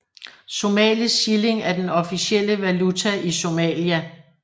Somalisk shilling er den officielle valuta i Somalia